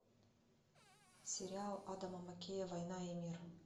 сериал адама маккея война и мир